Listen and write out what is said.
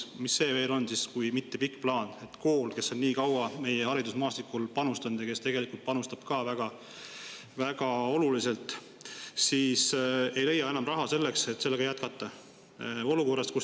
Mis see siis on, kui mitte pikk plaan, et kool, kes on nii kaua meie haridusmaastikul panustanud ja panustab väga oluliselt, ei leia enam raha selleks, et jätkata?